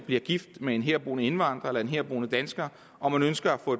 bliver gift med en herboende indvandrer eller en herboende dansker og man ønsker at få